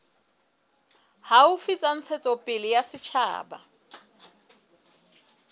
haufi tsa ntshetsopele ya setjhaba